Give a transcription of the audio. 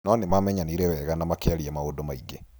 No nĩ maamenyanĩre wega na makĩaria maũndũ maingĩ.